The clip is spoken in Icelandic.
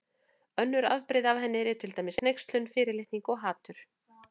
Önnur afbrigði af henni eru til dæmis hneykslun, fyrirlitning og hatur.